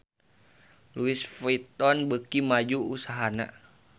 Louis Vuitton beuki maju usahana